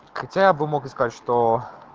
хотя бы мог сказать что